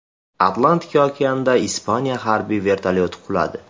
Atlantika okeanida Ispaniya harbiy vertolyoti quladi.